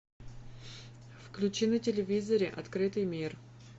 включи на телевизоре открытый мир